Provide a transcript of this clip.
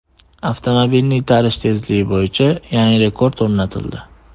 Avtomobilni itarish tezligi bo‘yicha yangi rekord o‘rnatildi.